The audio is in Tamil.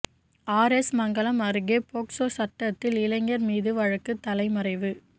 ஆா் எஸ் மங்கலம் அருகே போக்ஸோ சட்டத்தில் இளைஞா் மீது வழக்கு தலைமறைவு